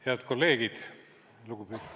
Head kolleegid!